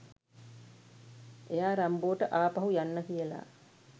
එයා රම්බෝ ට ආපහු යන්න කියලා